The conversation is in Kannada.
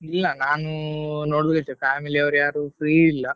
ಇಲ್ಲಾ ನಾನು ನೋಡ್ಬೇಕು family ಅವ್ರು ಯಾರು free ಇಲ್ಲ.